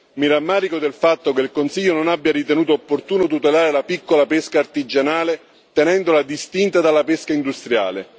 Mi rammarico del fatto che il Consiglio non abbia ritenuto opportuno tutelare la piccola pesca artigianale tenendola distinta dalla pesca industriale.